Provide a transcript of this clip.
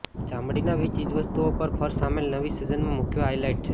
ચામડાની ચીજવસ્તુઓ પર ફર શામેલ નવી સિઝનના મુખ્ય હાઇલાઇટ છે